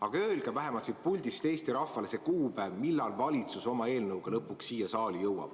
Aga öelge vähemalt siit puldist Eesti rahvale see kuupäev, millal valitsus oma eelnõuga lõpuks siia saali jõuab.